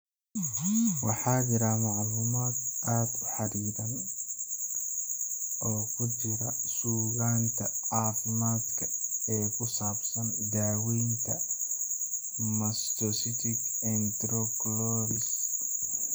Waxaa jira macluumaad aad u xaddidan oo ku jira suugaanta caafimaadka ee ku saabsan daaweynta mastocytic enterocolitis.